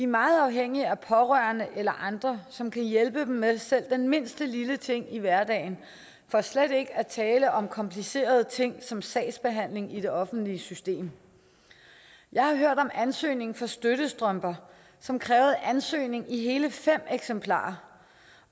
meget afhængige af pårørende eller andre som kan hjælpe dem med selv den mindste lille ting i hverdagen for slet ikke at tale om komplicerede ting som sagsbehandling i det offentlige system jeg har hørt om ansøgning til støttestrømper som krævede ansøgning i hele fem eksemplarer